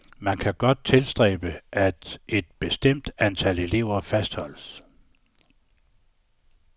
Men man kan godt tilstræbe, at et bestemt antal elever fastholdes.